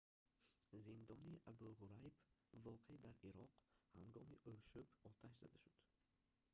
зиндони абу ғурайб воқеъ дар ироқ ҳангоми ошӯб оташ зада шуд